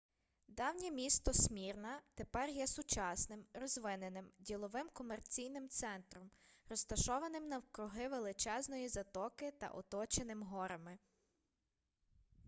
давнє місто смірна тепер є сучасним розвиненим діловим комерційним центром розташованим навкруги величезної затоки та оточеним горами